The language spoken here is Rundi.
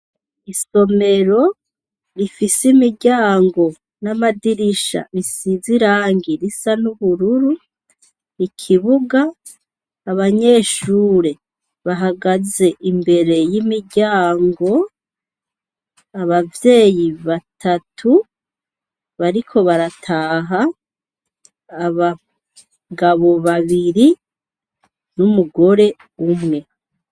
Isomero rifise imiryango n'amadirisha isize irangi risa n'ubururu, ikibuga, abanyeshure bahagaze imbere y'imiryango, ababyeyi batatu bariko barataha, abagabo babiri n'umugore umwe.